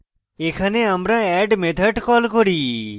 এখানে আমরা add method call করি